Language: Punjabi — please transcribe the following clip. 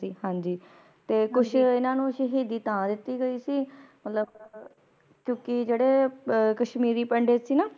ਹਾਂਜੀ ਤੇ ਕੁਛ ਇਹਨਾਂ ਨੂੰ ਸ਼ੀਸ਼ੀ ਦੀ ਥਾਂ ਦਿਤੀ ਗਈ ਸੀ ਮਤਲਬ ਕਿਉਕਿ ਜਿਹੜੇ ਕਸ਼ਮੀਰੀ ਪੰਡਿਤ ਸੀ ਨਾ